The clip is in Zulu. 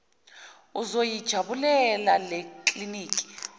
uzoyi jabulela lekliniki